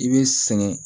I bɛ sɛgɛn